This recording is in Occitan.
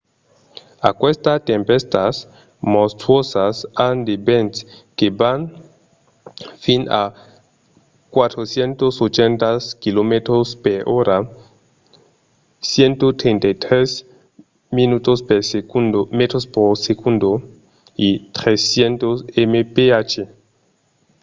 aquestas tempèstas monstruosas an de vents que van fins a 480 km/h 133 m/s; 300 mph